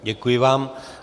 Děkuji vám.